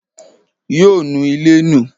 Yoo nu ilé nù.